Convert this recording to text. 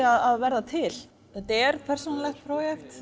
að verða til þetta er persónulegt